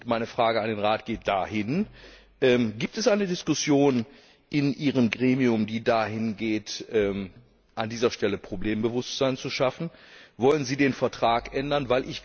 Meine Frage an den Rat geht dahin Gibt es eine Diskussion in Ihrem Gremium, die dahingeht, an dieser Stelle Problembewusstsein zu schaffen? Wollen Sie den Vertrag ändern?